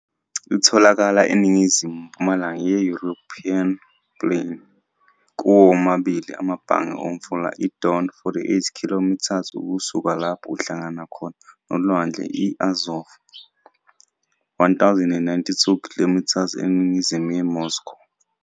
Itholakala eningizimu-mpumalanga Ye-East European Plain, kuwo womabili amabhange Omfula Idon, 46 km ukusuka lapho uhlangana Khona Nolwandle I-Azov, 1092 km eningizimu Yemoscow.